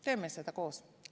Teeme seda koos!